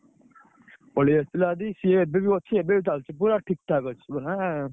ପଳେଇଆସିଥିଲା ଯଦି ସିଏ ଏବେବି ଅଛି। ଏବେବି ଚାଲିଛି ପୁରା, ଠିକ୍ ଠାକ୍ ଅଛି ମାନେ